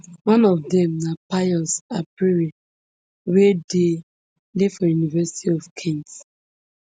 one of dem na pius apprey wey dey dey for university of kent